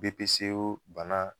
Ni BCO ban na